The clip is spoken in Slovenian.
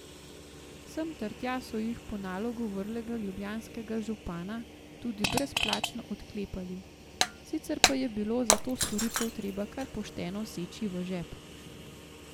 Sem ter tja so jih po nalogu vrlega ljubljanskega župana tudi brezplačno odklepali, sicer pa je bilo za to storitev treba kar pošteno seči v žep.